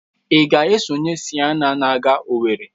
Ị ga-esonye na Siena na aga Owere?